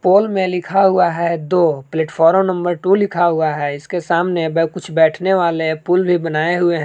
पोल में लिखा हुआ है दो प्लेटफार्म नंबर टू लिखा हुआ है इसके सामने कुछ बैठने वाले पुल भी बनाए हुए हैं।